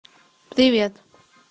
привет